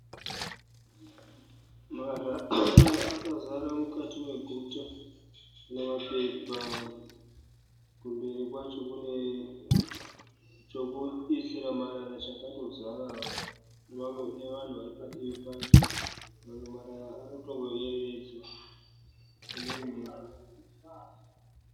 Marara akazara mukati meguta nemapepa. Kumberi kwacho kune chokuisira marara chakatozarawo nevanhu vari padivi pacho. Mamwe marara ari kutongoyerevedzwa nemhepo.